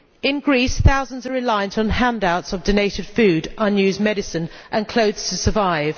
In Greece thousands are reliant on handouts of donated food, unused medicine and clothes to survive.